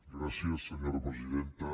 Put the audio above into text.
gràcies senyora presidenta